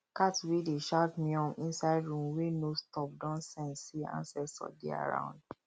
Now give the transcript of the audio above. cat wey dey shout meown inside room wey no stop don sense say ancestor dey around